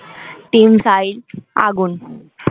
team size আগুন